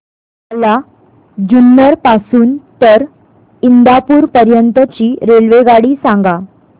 मला जुन्नर पासून तर इंदापूर पर्यंत ची रेल्वेगाडी सांगा